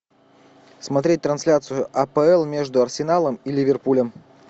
смотреть трансляцию апл между арсеналом и ливерпулем